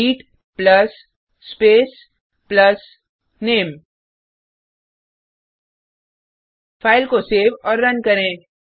greet plus space plus name file को save और run करें